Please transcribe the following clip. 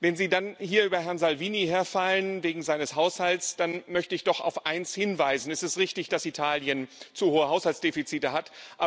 Wenn Sie dann hier über Herrn Salvini herfallen wegen seines Haushalts, dann möchte ich doch auf eins hinweisen Es ist richtig, dass Italien zu hohe Haushaltsdefizite hat.